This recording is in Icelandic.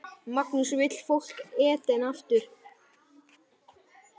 Magnús: Vill fólk Eden aftur?